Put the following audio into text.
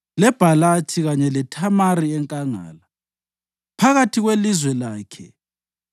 leBhalathi, kanye leThamari enkangala, phakathi kwelizwe lakhe,